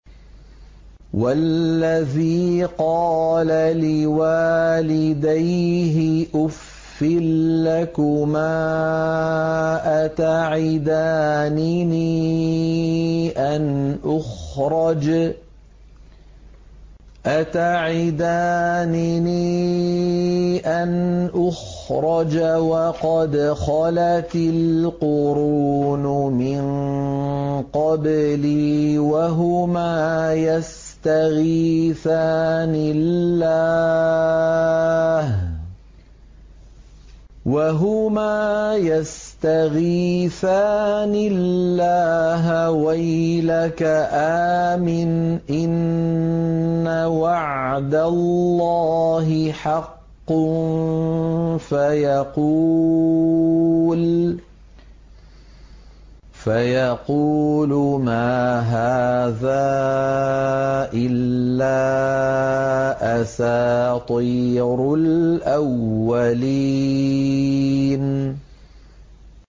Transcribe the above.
وَالَّذِي قَالَ لِوَالِدَيْهِ أُفٍّ لَّكُمَا أَتَعِدَانِنِي أَنْ أُخْرَجَ وَقَدْ خَلَتِ الْقُرُونُ مِن قَبْلِي وَهُمَا يَسْتَغِيثَانِ اللَّهَ وَيْلَكَ آمِنْ إِنَّ وَعْدَ اللَّهِ حَقٌّ فَيَقُولُ مَا هَٰذَا إِلَّا أَسَاطِيرُ الْأَوَّلِينَ